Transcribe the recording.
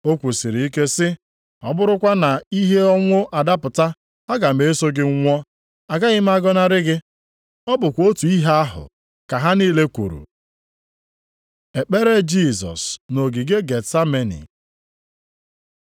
O kwusịrị ike sị, “Ọ bụrụkwa na ihe ọnwụ adapụta, aga m eso gị nwụọ. Agaghị m agọnarị gị!” Ọ bụkwa otu ihe ahụ ka ha niile kwuru. Ekpere Jisọs nʼogige Getsameni